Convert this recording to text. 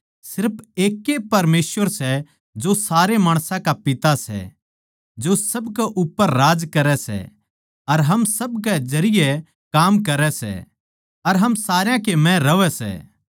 सिर्फ एकै परमेसवर सै जो सारे माणसां का पिता सै जो सब कै उप्पर राज करै सै अर हम सब कै जरिये काम करै सै अर हम सारया के म्ह रहवै सै